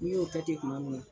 N'i y'o kɛ ten kuma min na.